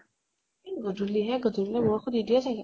ই গধূলিহে । গধূলি বৰষুন নিদিয়ে চাগে।